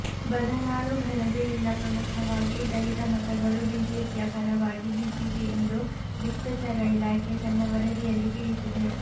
ಬದನಾಳು ಗಲಭೆಯಿಂದ ಪ್ರಮುಖವಾಗಿ ದಲಿತ ಮತಗಳು ಬಿಜೆಪಿಯ ಪರವಾಗಿ ಬಿದ್ದಿವೆ ಎಂದು ಗುಪ್ತಚರ ಇಲಾಖೆ ತನ್ನ ವರದಿಯಲ್ಲಿ ತಿಳಿಸಿದೆ